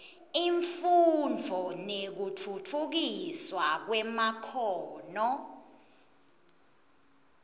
imfundvo nekutfutfukiswa kwemakhono